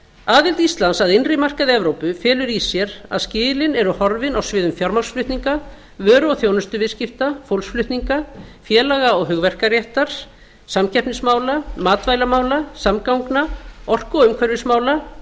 aðild íslands að innri markaði evrópu felur í sér að skilin eru horfin á sviði fjármagnsflutninga vöru og þjónustuviðskipta fólksflutninga félaga og hugverkaréttar samkeppnismála matvælamála samgangna orku og umhverfismála